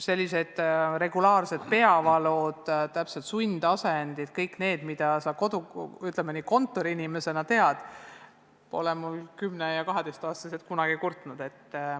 Sellised regulaarsed peavalud, sundasendid, kõik see, mida kontoriinimesed teavad – selle üle pole mu 10- ja 12-aastane kunagi kurtnud.